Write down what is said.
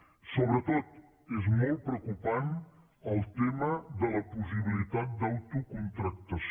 sobretot és molt preocupant el tema de la possibilitat d’autocontractació